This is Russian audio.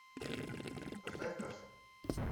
поставь касл